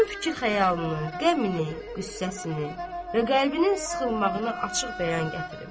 Onun fikir-xəyalını, qəmini, qüssəsini və qəlbinin sıxılmağını açıq bəyan gətirim.